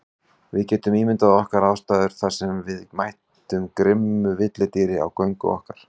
Við getum ímyndað okkar aðstæður þar sem við mætum grimmu villidýri á göngu okkar.